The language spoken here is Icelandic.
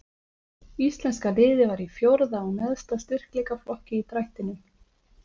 Íslenska liðið var í fjórða og neðsta styrkleikaflokki í drættinum.